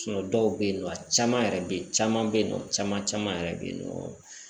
dɔw bɛ yen nɔ a caman yɛrɛ bɛ ye caman bɛ yen nɔ caman caman yɛrɛ bɛ yen nɔ